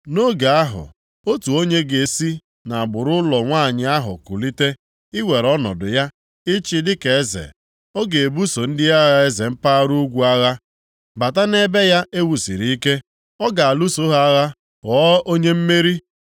“Nʼoge ahụ, otu onye ga-esi nʼagbụrụ ụlọ nwanyị ahụ kulite i were ọnọdụ ya ịchị dịka eze, ọ ga-ebuso ndị agha eze mpaghara ugwu agha, bata nʼebe ya e wusiri ike, ọ ga-alụso ha agha ghọọ onye mmeri.